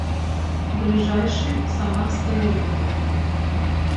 ближайший самарская лука